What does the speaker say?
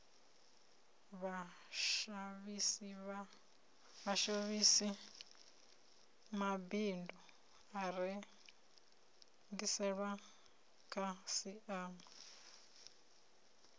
vhashamisi mabindu a rengisela khasiama